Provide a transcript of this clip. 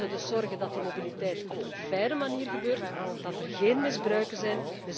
zijn. Wij zullen dus zorgen dat die mobiliteit op een faire manier gebeurt, dat er geen misbruiken